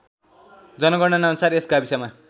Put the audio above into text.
जनगणनाअनुसार यस गाविसमा